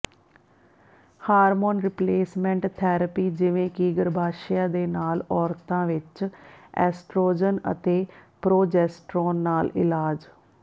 hormone replacement therapy ਜਿਵੇਂ ਕਿ ਗਰੱਭਾਸ਼ਯ ਦੇ ਨਾਲ ਔਰਤਾਂ ਵਿੱਚ ਐਸਟ੍ਰੋਜਨ ਅਤੇ ਪ੍ਰੋਜੈਸਟਰੋਨ ਨਾਲ ਇਲਾਜ